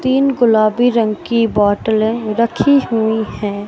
तीन गुलाबी रंग की बॉटलें रखी हुई हैं।